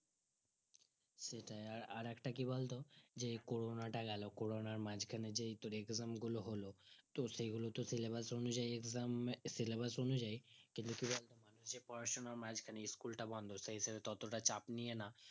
সেটাই আর একটা কি বলতো যে corona টা গেলো corona র মাজখানে যেই তোর exam গুলো হলো তো সেগুলো তো syllabus অনুযায়ী exam এ syllabus অনুযায়ী পড়াশোনার মাজখানে school টা বন্ধ সেই হিসাবে ততটা চাপ নেয়নি